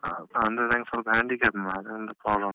ಹ ಅಂದ್ರೆ ನಂಗ್ ಸ್ವಲ್ಪ handicap ಇದೆ, ಅದ್ರಿಂದ problem .